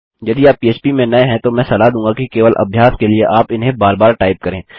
यदि आप पह्प में नये हैं तो मैं सलाह दूँगा कि केवल अभ्यास के लिए आप इन्हें बार बार टाइप करें